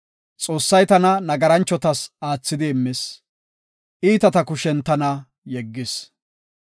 Xoossay tana nagarachotas aathidi immis; iitata kushen tana yeggis.